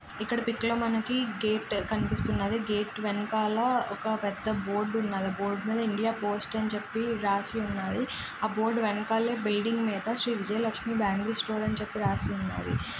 ఇక్కడ పిక్ లో మనకి గేట్ కనిపిస్తున్నది. గేటు వెనకాల ఒక పెద్ద బోర్డు ఉన్నది. బోర్డు మీద ఇండియా పోస్ట్ అని చెప్పి రాసి ఉన్నది. ఆ బోర్డు వెనకాల బిల్డింగ్ మీద శ్రీ విజయలక్ష్మి బ్యాంగిల్ స్టోర్ అని చెప్పి రాసి ఉన్నది.